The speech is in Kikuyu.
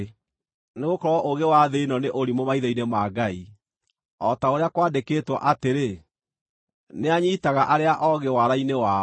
Nĩgũkorwo ũũgĩ wa thĩ ĩno nĩ ũrimũ maitho-inĩ ma Ngai. O ta ũrĩa kwandĩkĩtwo atĩrĩ, “Nĩanyiitaga arĩa oogĩ waara-inĩ wao”;